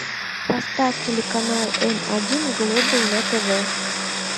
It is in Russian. поставь телеканал м один глобал на тв